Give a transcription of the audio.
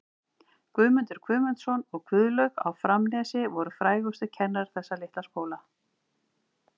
Guðmundur Guðmundsson og Guðlaug á Framnesi voru frægustu kennarar þessa litla skóla.